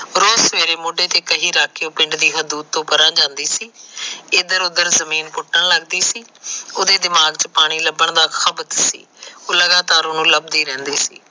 ਰੋਜ ਸਵੇਰੇ ਮੋਂਡੇ ਤੇ ਕਹੀ ਰੱਖ ਕੇ ਉਹ ਪਿੰਡ ਤੋ ਪਰਾ ਜਾਂਦੀ ਸੀ ਇਧਰ ਉਧਰ ਜਮੀਨ ਪੁਟਣ ਲੱਗ ਪੈਂਦੀ ਸੀ ਉਹਦੇ ਦਿਮਾਗ ਚ ਪਾਣੀ ਲੱਭਣ ਦਾ ਸੀ ਉਹ ਲਗਾਤਾਰ ਉਹਨੂੰ ਲੱਭਦੀ ਰਹਿੰਦੀ ਸੀ